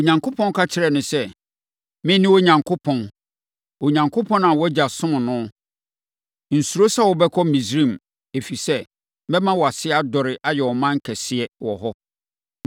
Onyankopɔn ka kyerɛɛ no sɛ, “Mene Onyankopɔn. Onyankopɔn a wʼagya somm no. Nsuro sɛ wobɛkɔ Misraim, ɛfiri sɛ, mɛma wʼase adɔre ayɛ ɔman kɛseɛ wɔ hɔ.